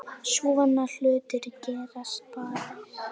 Svona hlutir gerast bara.